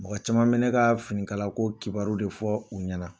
Mɔgɔ caman fana bɛ ne ka finikalako kibaru de fɔ u ɲɛna